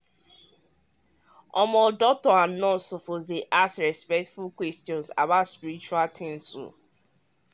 ah doctors and nurses suppose ask respectful questions about spiritual things.